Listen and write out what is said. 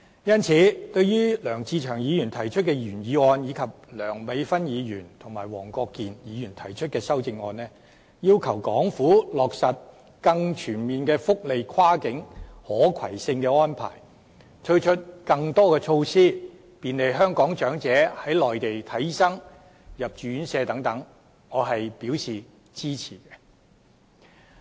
因此，對於梁志祥議員提出的原議案，以及梁美芬議員和黃國健議員提出的修正案，要求港府落實更全面的福利跨境可攜性安排，推出更多措施便利香港長者在內地求診、入住院舍等，我均表示支持。